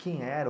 Quem era?